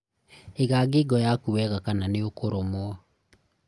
ĩga ngingo yaku wega kana nĩ ũkũrũmwo